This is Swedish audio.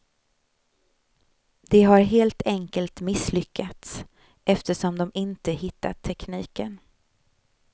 De har helt enkelt misslyckats eftersom de inte hittat tekniken.